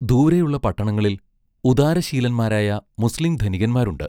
ദൂരെയുള്ള പട്ടണങ്ങളിൽ ഉദാരശീലന്മാരായ മുസ്ലീം ധനികന്മാരുണ്ട്.